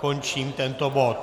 Končím tento bod.